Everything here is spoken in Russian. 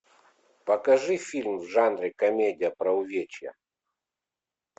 покажи фильм в жанре комедия про увечья